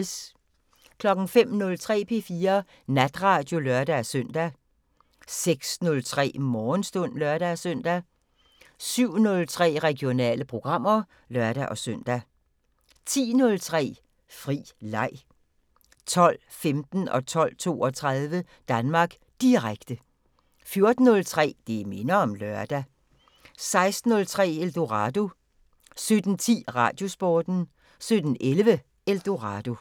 05:03: P4 Natradio (lør-søn) 06:03: Morgenstund (lør-søn) 07:03: Regionale programmer (lør-søn) 10:03: Fri leg 12:15: Danmark Direkte 12:32: Danmark Direkte 14:03: Det minder om lørdag 16:03: Eldorado 17:10: Radiosporten 17:11: Eldorado